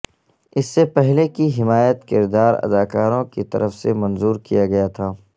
اس سے پہلے کی حمایت کردار ادا اداکاروں کی طرف سے منظور کیا گیا تھا